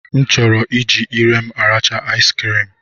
M chọrọ iji ire arachaa asikirim